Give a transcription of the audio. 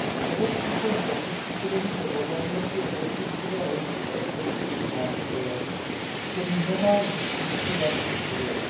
Evropský fond pro přizpůsobení se globalizaci je z rozpočtového hlediska specifickým nástrojem, který nemá k dispozici vlastní zdroje.